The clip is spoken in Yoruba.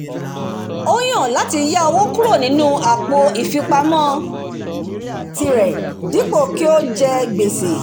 ó yàn láti yá owó kúrò nínú àpò ìfipamọ̀tirẹ dípò kí ó je gbèsè